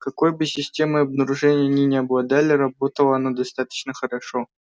какой бы системой обнаружения они ни обладали работала она достаточно хорошо